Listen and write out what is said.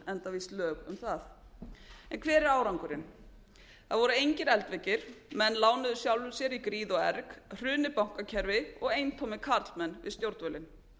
enda víst lög um það en hver er árangurinn það voru engir eldveggir menn lánuðu sjálfum sér í gríð og erg hrun bankakerfis og eintómir karlmenn við stjórnvölinn